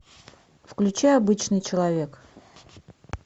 включай обычный человек